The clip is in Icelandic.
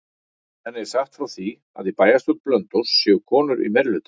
Henni er sagt frá því að í bæjarstjórn Blönduóss séu konur í meirihluta.